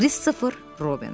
Kristofer Robin.